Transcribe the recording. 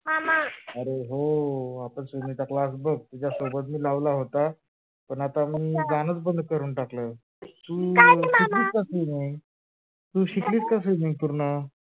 हा मामा अरे हो आता swimming चा class बघ तुझ्या सोबत मी लावला होता पण आता मग मी जाणच बंद करून टाकल, तू शिकलीस कशी नाही काही नाही मामा तू शिकलीस कशी नाही?